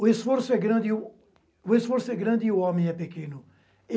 O esforço é grande e o esforço é grande e o homem é pequeno.